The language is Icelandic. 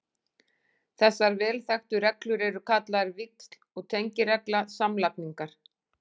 Þessar vel þekktu reglur eru kallaðar víxl- og tengiregla samlagningar.